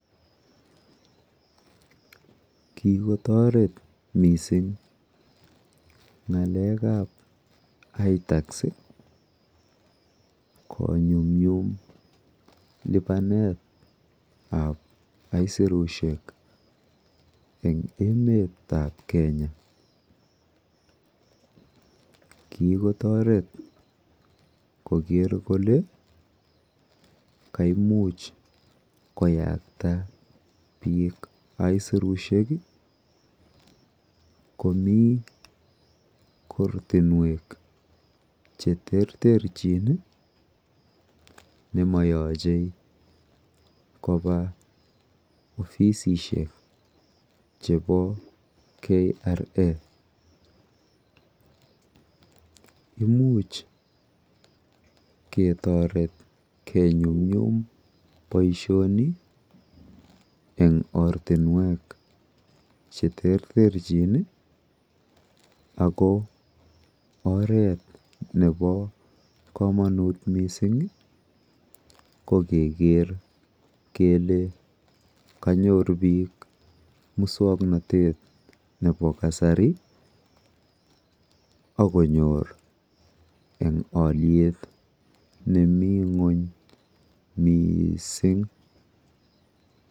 Kigotoret mising ng'alekab itax konyumnyum lipanetab aisurushek en emet ab Kenya. Kigotoret koger kole kaimuch koyakta biik aisurushek komi korotinwek che terterchin nemoyache koba ofisishek chebo KRA imuch ketoret kenyumnyum boisioni en ortinwek che terterchin ago oret nebo komunt mising ko keger kele kanyor biik muswoknatet nebo kasari ak konyor en olyet ne mi ng'wony mising